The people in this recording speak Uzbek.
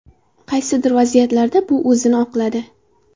Qaysidir vaziyatlarda bu o‘zini oqladi.